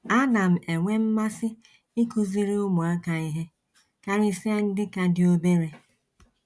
Ana m enwe mmasị ịkụziri ụmụaka ihe, karịsịa ndị ka dị obere.